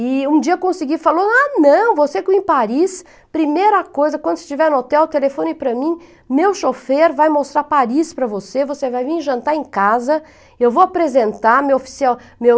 E um dia eu consegui, falou, ah não, você que é em Paris, primeira coisa, quando você estiver no hotel, telefone para mim, meu chofer vai mostrar Paris para você, você vai vir jantar em casa, eu vou apresentar, meu oficial, meu...